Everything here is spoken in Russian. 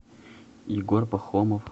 егор пахомов